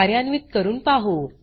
कार्यान्वीत करून पाहु